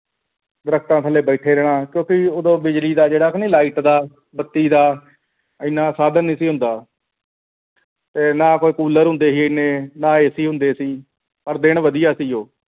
ਦਰੱਖਤਾਂ ਥੱਲੇ ਬੈਠੇ ਰਹਿਣਾ ਕਿਉਂਕਿ ਉਦੋਂ ਬਿਜਲੀ ਦਾ ਜੋੜਾ ਨਹੀਂ light ਦਾ ਬੱਤੀ ਦਾ ਇੰਨਾ ਸਾਧਨ ਨਹੀਂ ਸੀ ਹੁੰਦਾ ਤੇ ਨਾ ਕੋਈ ਕੂਲਰ ਹੁੰਦੇ ਸੀ ਇਹਨੇ ਨਾ AC ਹੁੰਦੇ ਸੀ ਪਰ ਦਿਨ ਵਧੀਆ ਸੀ ਉਹ।